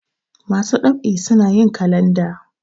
masu ɗab'i suna yin kalanda